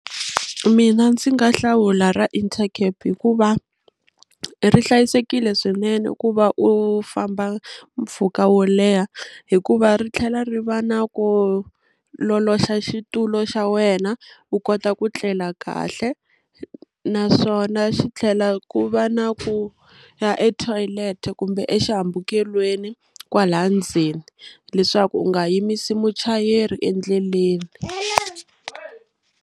Mina ndzi nga hlawula ra Intercape hikuva ri hlayisekile swinene ku va u famba mpfhuka wo leha hikuva ri tlhela ri va na ku loloxa xitulu xa wena u kota ku tlela kahle naswona xi tlhela ku va na ku ya etoilet kumbe exihambukelweni kwalaya ndzeni leswaku u nga yimisi muchayeri endleleni.